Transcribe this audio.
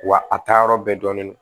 Wa a taa yɔrɔ bɛɛ dɔnnen don